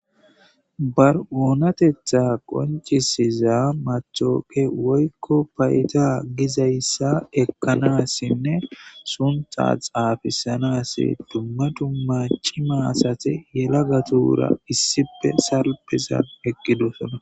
Ba onatetha qoncisiza matoqa woykon payda gizaysa ekanasnne suntha xafisanas duma duma cima asati yelagatura salipe salippetidosona